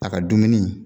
A ka dumuni